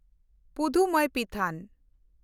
ᱯᱩᱫᱷᱩᱢᱮᱭᱯᱤᱛᱷᱚᱱ